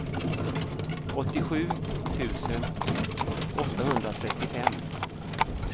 åttiosju tusen åttahundratrettiofem